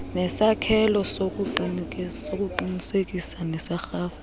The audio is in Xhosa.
nesakhelo sokuqinisekisa serhafu